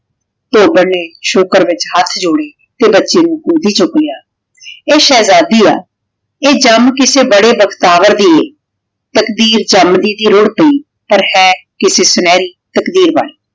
ਧੋਬਨ ਨੇ ਸ਼ੁਕਰ ਵਿਚ ਹੇਠ ਜੋਰੇ ਤੇ ਬਚੀ ਨੂ ਗੋਦੀ ਚੂਕ ਲਾਯਾ ਆਯ ਸ਼ੇਹ੍ਜ਼ਾਦੀ ਆ ਆਯ ਜਮ ਕਿਸੇ ਬਾਰੇ ਬਖ੍ਤਾਵਰ ਦੀ ਆਯ ਤਾਕ਼ਦੀਰ ਜਮਦੀ ਦੀ ਰੁਢ਼ ਪੈ ਪਰ ਹੈ ਕਿਸੇ ਸੁਨਹਰੀ ਤਾਕ਼ਦੀਰ ਵਾਲੀ